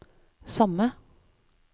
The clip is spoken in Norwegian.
samme